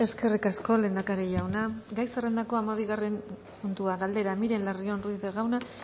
eskerrik asko lehendakari jauna gai zerrendako hamabigarren puntua galdera miren larrion ruiz de gauna